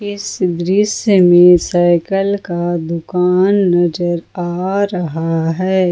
इस दृश्य में साइकल का दुकान नजर आ रहा है।